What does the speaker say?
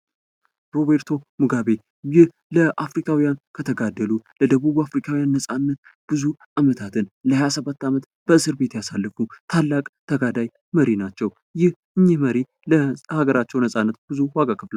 ሮቤርቶ ሙጋቤ ይህ ለአፍሪካዉያን ከተጋደሉ ለአፍሪካዉያን ነጻነት ብዙ አመታትን ለሃያሰባት አመት በእስር ቤት ያሳለፉ ታላቅ ተጋዳይ መሪ ናቸው። እኚህ መሪ ለሃገራቸው ነጻነት ብዙ ዋጋ ከፍለዋል።